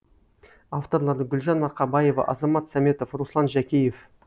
авторлары гүлжан марқабаева азамат сәметов руслан жәкеев